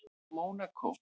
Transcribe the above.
Mónakó